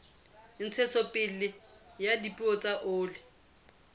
ntshetsopele ya dipeo tsa oli